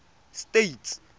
states